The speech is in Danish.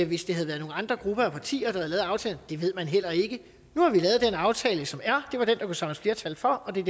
hvis det havde været nogle andre grupper af partier der havde lavet aftalen det ved man heller ikke nu har vi lavet den aftale som er det var den der kunne samles flertal for og det er